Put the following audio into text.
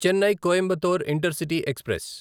Chennai Coimbatore intercity express